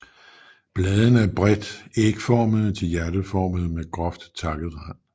Bladene er bredt ægformede til hjerteformede med groft takket rand